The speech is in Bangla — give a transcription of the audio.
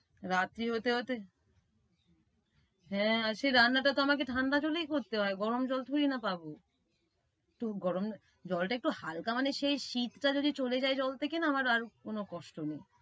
রাত্রি হতে হতে হ্যাঁ, আর সে রান্নাটা তো আমাকে ঠান্ডাতে তো করতে হয় গরম জল থুই না পাবো। তো গরম জলটা একটু হাল্কা মানে সেই শীতটা যদি চলে যায় জল থেকে না আমার আর কোন কষ্ট নেই।